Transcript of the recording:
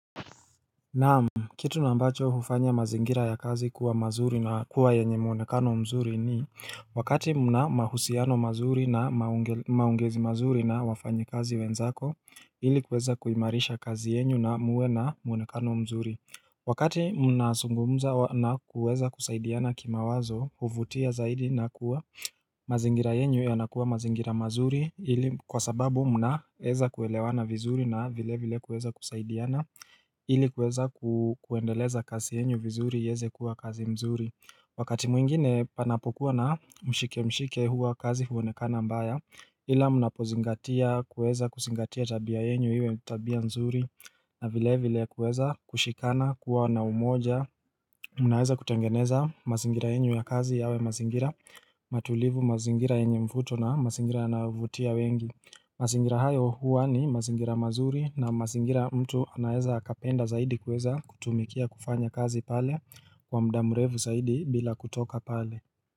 Naam, kitu na ambacho hufanya mazingira ya kazi kuwa mazuri na kuwa yenye muonekano mzuri ni Wakati mna mahusiano mazuri na maongezi mazuri na wafanyakazi wenzako, ili kuweza kuimarisha kazi yenyu na muwe na muonekano mzuri Wakati mnazungumza na kuweza kusaidiana kima wazo, huvutia zaidi na kuwa mazingira yenyu yanakuwa mazingira mazuri, ili kwa sababu mnaweza kuelewana vizuri na vile vile kuweza kusaidiana ili kuweza kuendeleza kazi yenyo vizuri iweze kuwa kazi mzuri Wakati mwingine panapokuwa na mshike mshike huwa kazi huonekana mbaya ila mnapozingatia kuweza kuzingatia tabia yenyu iwe tabia mzuri na vile vile kuweza kushikana kuwa na umoja Munaeza kutengeneza mazingira yenyu ya kazi yawe mazingira Matulivu mazingira yenye mvuto na mazingira yanayovutia wengi mazingira hayo huwa ni mazingira mazuri na mazingira mtu anaweza akapenda zaidi kuweza kutumikia kufanya kazi pale kwa mda mrefu zaidi bila kutoka pale.